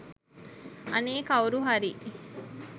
අනේ කවුරුහරි